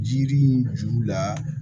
Jiri in juru la